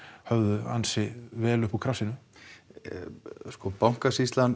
höfðu ansi vel upp úr krafsinu